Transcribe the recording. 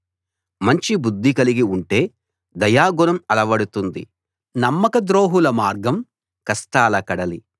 మంచి బుద్ధి కలిగి ఉంటే దయాగుణం అలవడుతుంది నమ్మకద్రోహుల మార్గం కష్టాల కడలి